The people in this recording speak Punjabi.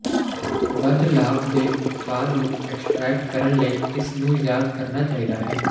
ਵੱਧ ਲਾਭ ਦੇ ਉਤਪਾਦ ਨੂੰ ਐਕਸਟਰੈਕਟ ਕਰਨ ਲਈ ਇਸ ਨੂੰ ਯਾਦ ਕਰਨਾ ਚਾਹੀਦਾ ਹੈ